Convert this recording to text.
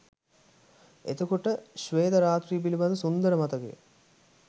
එතකොට ශ්වේත රාත්‍රිය පිළිබඳ සුන්දර මතකය